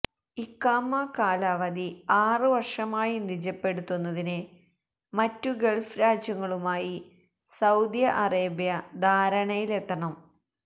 ഇഖാമ കാലാവധി ആറു വര്ഷമായി നിജപ്പെടുത്തുന്നതിന് മറ്റു ഗള്ഫ് രാജ്യങ്ങളുമായി സൌദി അറേബ്യ ധാരണയിലെത്തണം